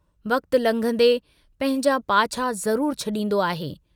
वक्त लंघंदे पंहिंजा पाछा ज़रूर छड़ींदो आहे।